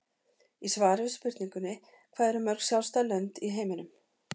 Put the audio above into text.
Í svari við spurningunni Hvað eru mörg sjálfstæð lönd í heiminum?